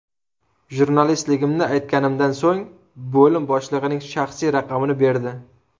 Jurnalistligimni aytganimdan so‘ng bo‘lim boshlig‘ining shaxsiy raqamini berdi.